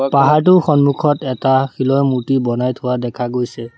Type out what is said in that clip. পাহাৰটো সন্মুখত এটা শিলৰ মূৰ্ত্তি বনাই থোৱা দেখা গৈছে।